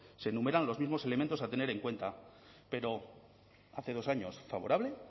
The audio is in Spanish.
se enumeran los mismos elementos a tener en cuenta pero hace dos años favorable